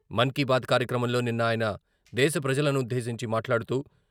మన్ కీ బాత్ కార్యక్రమంలో నిన్న ఆయన దేశ ప్రజలనుద్దేశించి మాట్లాడుతూ...